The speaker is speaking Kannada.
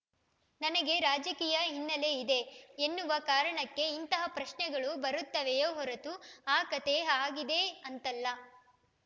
ನನಗೆ ರಾಜಕೀಯ ಹಿನ್ನೆಲೆಯಿದೆ ಎನ್ನುವ ಕಾರಣಕ್ಕೆ ಇಂತಹ ಪ್ರಶ್ನೆಗಳು ಬರುತ್ತವೆಯೋ ಹೊರತು ಆ ಕತೆ ಹಾಗಿದೆ ಅಂತಲ್ಲ